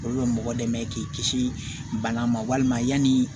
Olu bɛ mɔgɔ dɛmɛ k'i kisi bana ma walima yanni